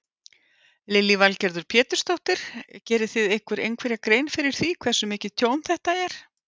Lillý Valgerður Pétursdóttir: Gerið þið ykkur einhverja grein fyrir því hversu mikið tjón þetta er?